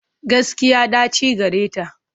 Gaskiya, ɗaci gareta.